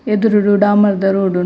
ಎದುರುಡು ಡಾಮರ್ ದ ರೋಡ್ ಉಂ --